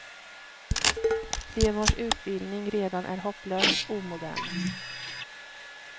De vars utbildning redan är hopplöst omodern.